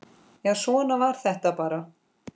Já, svona var þetta bara.